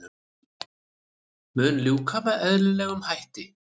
Mun ljúka með eðlilegum hætti